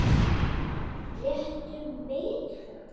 Réttu megin?